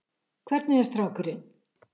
Hvernig er strákurinn?